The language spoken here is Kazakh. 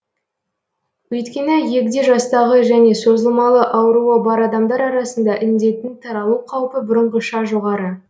өйткені егде жастағы және созылмалы ауруы бар адамдар арасында індеттің таралу қаупі бұрынғыша жоғары